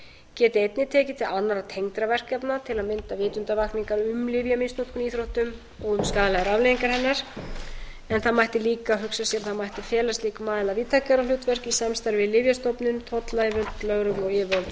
geti einnig tekið til annarra tengdra verkefna til að mynda vitundarvakningar um lyfjamisnotkun í íþróttum og um skaðlegar afleiðingar hennar en það mætti líka hugsa sér að það mætti fela slíkum aðila víðtækara hlutverk í samstarfi við lyfjastofnun tollyfirvöld lögreglu og yfirvöld